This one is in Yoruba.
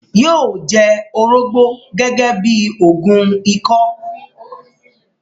yóó jẹ “ orógbó ” gẹ́gẹ́ bíi òògùn ikọ́.